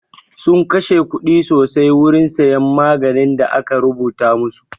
Sun kashe kuɗi sosai wurin siyan maganin da aka rubuta masu